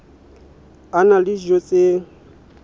a na le dijo tse